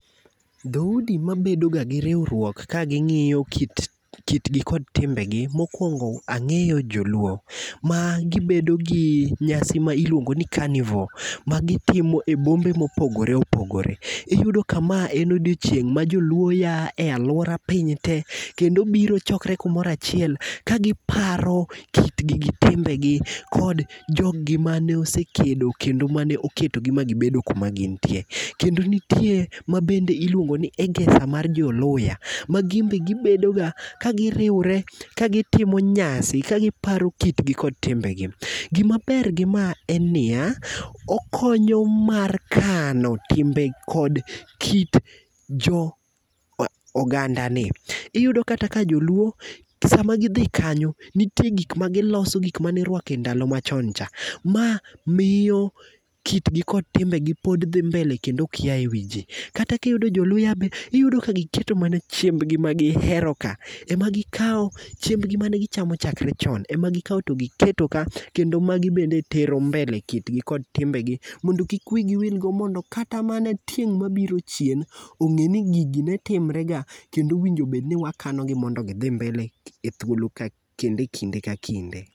Dhoudi mabedo ga gi riwruok kaging'iyo kitgi kod timbegi. Mokuongo ang'eyo joluo, ma gibedo gi nyasi miluongo ni Carnivour ma gitimo e bombe mopogore opogore Iyudo ka ma en odiechieng' ma joluo a e aluora piny tee kendo biro chokre kumoro achiel kagiparo kitgi gi timbegi kod gi jogi mane osekedo kendo ma oketogi ma gibedo kuma gintie. Kendo nitie miluongo ni Egesa mar jo Luhyiah , magibe gibedoga kagiriwre ka gitimo nyasi kagiparo kitgi kod timbegi. Gimaber gi ma en niya, okonyo mar kano timbe kod kit jo ogandani. Iyudo kata ka joluo sama gidhi kanyo, nitie gik magiloso gik mane iruako e ndalo machoncha. Ma miyo kitgi kod timbegi pod dhi mbele kendo ok a ewiji. Kata kiyudo joluya bende, iyudo ka giketo mana chiembgi mane giheroka. Ema gikawo, chiembgi mane giherocha, ema gikawo to giketo ka, magi bende tero mbele kitgi kod timbegi, Mondo kik wigi wil godo mondo kata mana tieng' mabiro chien ong'e ni gigi ne timrega kendo owinjo bed ni wakaogi mondo gidhi mbele ekinde ka kinde.